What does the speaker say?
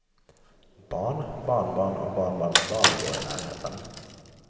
Barn, barnbarn och barnbarnsbarn bor i närheten.